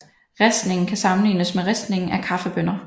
Ristningen kan sammenlignes med ristningen af kaffebønner